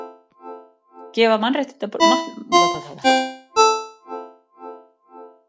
Gefa mannréttindabrotum rauða spjaldið